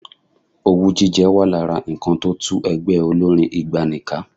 Owú jíjẹ wà lára nǹkan tó tú ẹgbẹ́ olórín ìgbàanì ká.